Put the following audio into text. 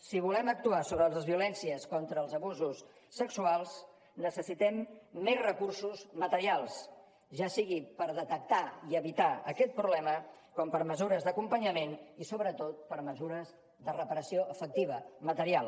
si volem actuar sobre les violències contra els abusos sexuals necessitem més recursos materials ja sigui per detectar i evitar aquest problema com per mesures d’acompanyament i sobretot per mesures de reparació efectiva material